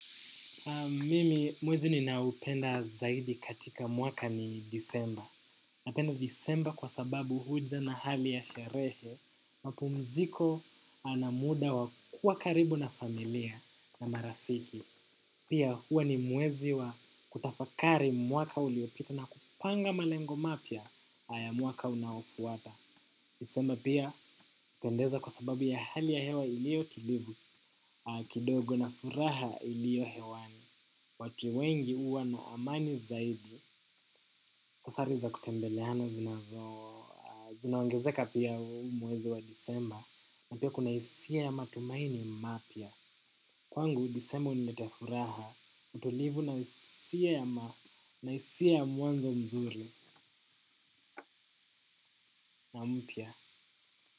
Mimi mwezi ninaoupenda zaidi katika mwaka ni Desemba. Napenda Desemba kwa sababu huja na hali ya sherehe. Mapumziko na muda wa kuwa karibu na familia na marafiki. Pia huwa ni mwezi wa kutafakari mwaka uliopita na kupanga malengo mapya ya mwaka unaofuata. Disemba pia hupendeza kwa sababu ya hali ya hewa iliyo tulivu kidogo na furaha iliyo hewani. Watu wengi huwa na amani zaidi. Safari za kutembeleana zinazo zinaongezeka pia mwezi wa Disemba na pia kuna hisia ya matumaini mapya kwangu Disemba huniletea furaha, utulivu na hisia ya mwanzo mzuri na mpya.